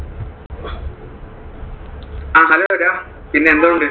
ആഹ് hello ഡാ ആഹ് പിന്നെ എന്തോണ്ട്?